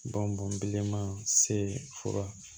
Bɔn bɔn man se fura